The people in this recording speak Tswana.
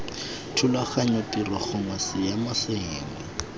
thulaganyo tiro gongwe seemo sengwe